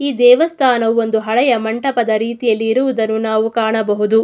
ಈ ದೇವಸ್ಥಾನವು ಹಳೆಯ ಮಂಟಪದ ರೀತಿ ಯಲ್ಲಿ ಇರುವುದನ್ನು ನಾವು ಕಾಣಬಹುದು.